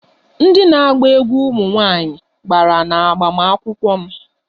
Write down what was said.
Ndị na-agba egwú ụmụ nwanyị gbara n'agbamakwụkwọ m